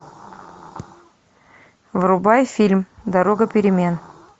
врубай фильм дорога перемен